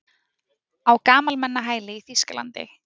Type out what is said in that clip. Á gamalmennahæli í Þýskalandi?